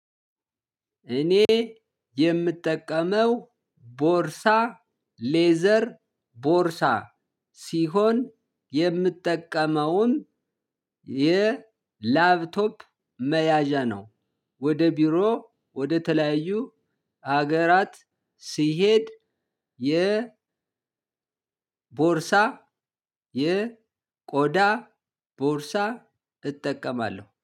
እኔ የምጠቀመው ቦርሳ ሌዘር ቦርሳ ሲሆን የምጠቀመውም የላፕቶፕ መያዣ ነው። ወደ ቢሮ ወደ ተለያዩ ሀገራት ስ ስሄድ የ ቦርሳ የ ቆዳ ቦርሳ እጠቀማለሁ